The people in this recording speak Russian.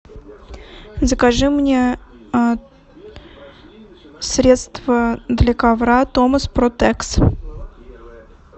закажи мне средство для ковра томас протекс